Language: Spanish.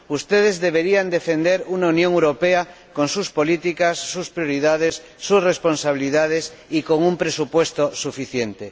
ustedes deberían defender una Unión Europea con sus políticas, sus prioridades, sus responsabilidades, y con un presupuesto suficiente.